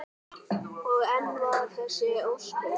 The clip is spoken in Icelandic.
Og enn vara þessi ósköp.